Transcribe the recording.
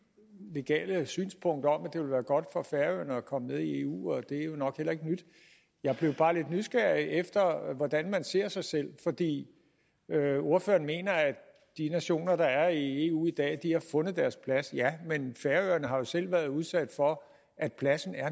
legale synspunkter om at det ville være godt for færøerne at komme med i eu og det er jo nok heller ikke nyt jeg blev bare lidt nysgerrig efter hvordan man ser sig selv fordi ordføreren mener at de nationer der er i eu i dag har fundet deres plads ja men færøerne har jo selv været udsat for at pladsen